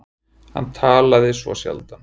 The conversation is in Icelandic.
Hann talaði svo sjaldan.